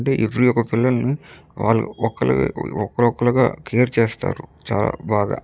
అంటే ఎవరీ ఒక్క పిల్లలని వేలు ఒకలాగా ఒక్క ఒకలుగా కేర్ చేసారు చాలా బాగా --